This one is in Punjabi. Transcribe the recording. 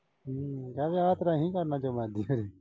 ਹਮ ਕਹਿ ਵਿਆਹ ਤੇਰਾ ਅਸੀਂ ਕਰਨਾ ਜੋ ਮਰਜੀ ਕਰੀਂ।